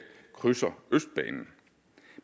krydser østbanen